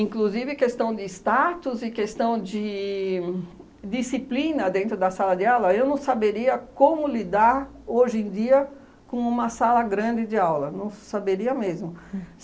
questão de status e questão de disciplina dentro da sala de aula, eu não saberia como lidar hoje em dia com uma sala grande de aula, não saberia mesmo.